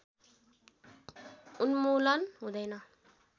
उन्मूलन हुँदैन